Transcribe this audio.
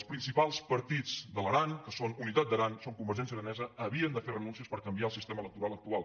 els principals partits de l’aran que són unitat d’aran i són convergència aranesa havien de fer renúncies per canviar el sistema electoral actual